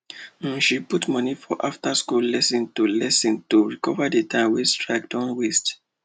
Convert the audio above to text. um she dey put money for afterschool lesson to lesson to recover the time wey strike don waste